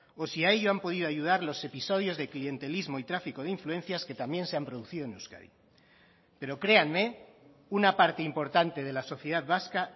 o si a ello han podido ayudar los episodios de clientelismo y tráfico de influencias que también se han producido en euskadi pero créanme una parte importante de la sociedad vasca